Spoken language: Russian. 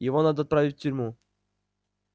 его надо отправить в тюрьму